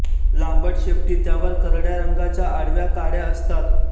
लांबट शेपटी त्यावर करडया रंगाच्या आडव्या काडया असतात